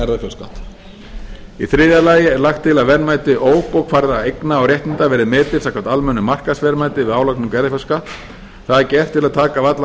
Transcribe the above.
erfðafjárskatt í þriðja lagi er lagt til að verðmæti óbókfærðra eigna og réttinda verði metin samkvæmt almennu markaðsverðmæti við álagningu erfðafjárskatts það er gert til að taka af allan